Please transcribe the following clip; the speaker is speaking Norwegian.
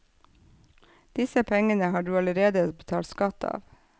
Disse pengene har du allerede betalt skatt av.